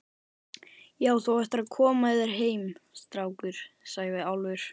Já, þú ættir að koma þér heim, strákur, sagði Álfur.